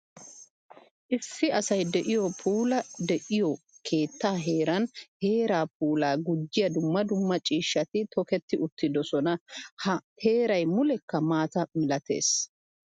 Issi asay de'iyo puula de'iyo keetta heeran heera puula gujjiya dumma dumma ciishshatti tokketti uttidosonna. Ha heeray mulekka maata milattees.